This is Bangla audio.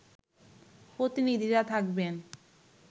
প্রতিনিধিরা থাকবেন